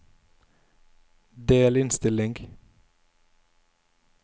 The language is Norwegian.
delinnstilling